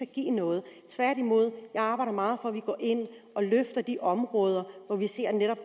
give noget tværtimod jeg arbejder meget at vi går ind og løfter de områder vi ser netop